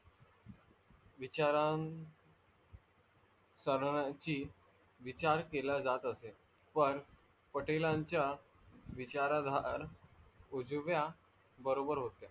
विचारन्चा विचार केला जात असेल पण पाटेलांचा विचारधार उजव्या बरोबर होत्या.